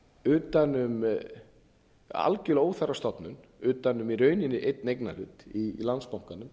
utan um algjörlega óþarfa stofnun utan um í rauninni einn eignarhlut í landsbankanum